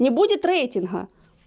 не будет рейтинга